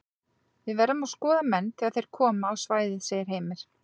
Við verðum að skoða menn þegar þeir koma á svæðið segir Heimir.